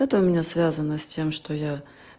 это у меня связано с тем что я